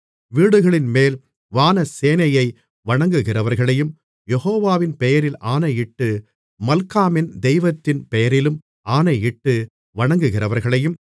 வீடுகளின்மேல் வானசேனையை வணங்குகிறவர்களையும் யெகோவாவின் பெயரில் ஆணையிட்டு மல்காமின் தெய்வத்தின் பெயரிலும் ஆணையிட்டு வணங்குகிறவர்களையும்